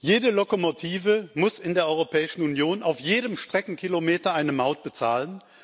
Jede Lokomotive muss in der Europäischen Union auf jedem Streckenkilometer eine Maut bezahlen.